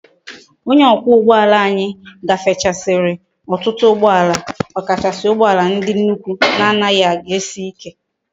Onye okwa ugboala anyi gafesikwara otutu ugboala okachasi ugboala ndi nnukwu na anaghi eji si ike